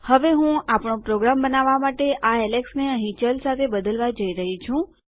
હવે હું આપણો પ્રોગ્રામ બનાવવા માટે આ એલેક્સને અહીં ચલ સાથે બદલવા જઈ રહી છું